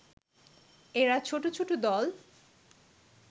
এরা ছোট ছোট দল